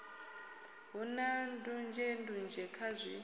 hu na ndunzhendunzhe kha zwi